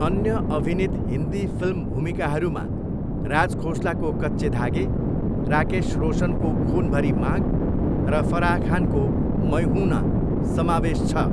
अन्य अभिनीत हिन्दी फिल्म भूमिकाहरूमा राज खोसलाको कच्चे धागे, राकेश रोशनको खून भरी मांग र फराह खानको मै हूं ना समावेश छ।